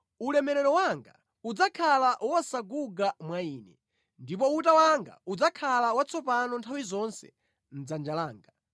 Ulemerero wanga udzakhala wosaguga mwa ine, ndipo uta wanga udzakhala watsopano nthawi zonse mʼdzanja langa.’